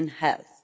and health.